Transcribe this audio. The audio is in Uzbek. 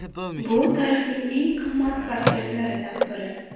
Bu tarixdagi eng qimmat portretlardan biri.